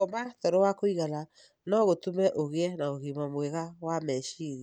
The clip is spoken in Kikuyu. Gũkoma toro wa kũigana no gũtũme ũgĩe na ũgima mwega wa meciria.